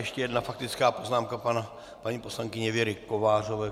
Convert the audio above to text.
Ještě jedna faktická poznámka paní poslankyně Věry Kovářové.